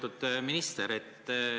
Lugupeetud minister!